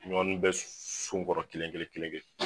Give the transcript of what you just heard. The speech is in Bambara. Ɲɔ nu bɛ su bɔrɔ kelen kelen kelen kelen